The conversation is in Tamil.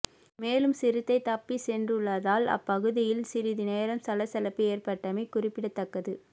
மேலும் சிறுத்தை தப்பி சென்றுள்ளதால் அப்பகுதியில் சிறிது நேரம் சலசலப்பு ஏற்பட்டமை குறிப்பிடத்தக்கது